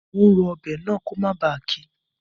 Mo n ro ọbẹ̀ náà ko mó ba kí